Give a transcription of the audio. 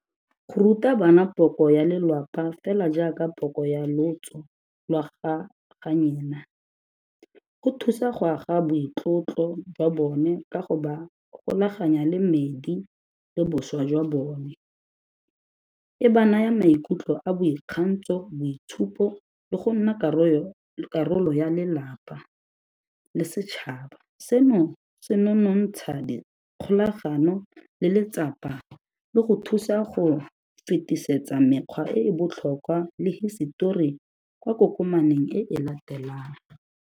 Go ruta bana poko ya lelapa fela jaaka poko ya lotso lwa ga go thusa go aga boitlotlo jwa bone ka go ba golaganya le medi le bošwa jwa bone, e ba naya maikutlo a boikgantso, boitshupo le go nna karolo ya lelapa le setšhaba, seno se nonontsha dikgolagano le letsapa le go thusa go fetisetsa mekgwa e e botlhokwa le hisetori kwa kokomaneng e e latelang.